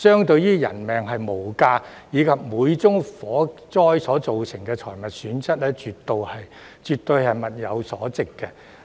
鑒於人命無價，而且每宗火災都會造成財物損失，絕對物有所值。